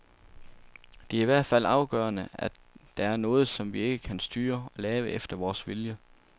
Det er i hvert fald afgørende, at der er noget, som vi ikke kan styre og lave efter vores vilje.